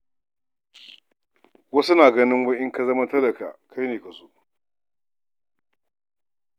Wasu na ganin wai in ka zama talaka kai ne ka so haka.